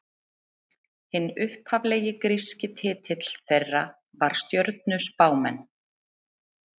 Hinn upphaflegi gríski titill þeirra var stjörnuspámenn.